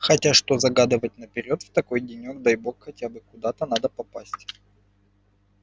хотя что загадывать наперёд в такой денёк дай бог хотя бы куда-то надо попасть